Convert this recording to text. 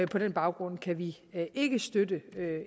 på den baggrund kan vi ikke støtte